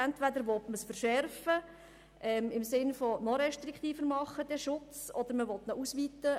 Entweder will man den Schutz verschärfen, also noch restriktiver machen oder man will ihn ausweiten.